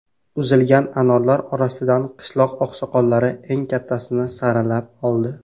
Uzilgan anorlar orasidan qishloq oqsoqollari eng kattasini saralab oldi.